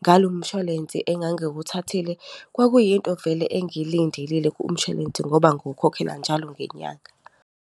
ngalo mshwalense engangiwuthathile. Kwakuyinto vele engiyilindelile kumshwalense, ngoba ngiwukhokhela njalo ngenyanga.